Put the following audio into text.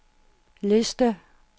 liste